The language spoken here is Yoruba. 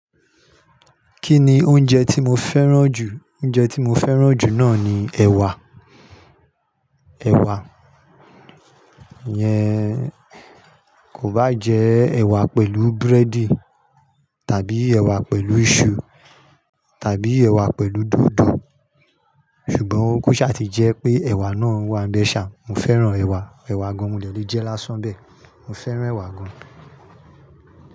Kí ni oúnjẹ tí mo fẹ́ràn jù? Oúnjẹ tí mo fẹ́ràn jù náà ni ẹ̀wà, ẹ̀wà. Iyẹn kò báa jẹ́ ẹ̀wà pẹ̀lú búrẹ́dì tàbí ẹ̀wà pẹ̀lú iṣu tàbí ẹ̀wà pẹ̀lú dòdò. Ṣùgbọ́n, ko ṣá ti jẹ́ pé ẹ̀wà náà wà ń bẹ ṣá. Mo fẹ́ràn ẹ̀wà. Ẹ̀wà gan. Mo dẹ̀ lè jẹ lásán bẹ́ẹ̀. Mo fẹ́ràn ẹ̀wà gan.